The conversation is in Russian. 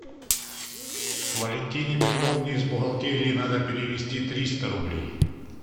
валентине петровне из бухгалтерии надо перевести триста рублей